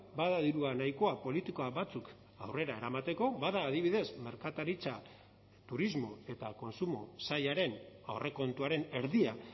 bada dirua nahikoa politika batzuk aurrera eramateko bada adibidez merkataritza turismo eta kontsumo sailaren aurrekontuaren erdia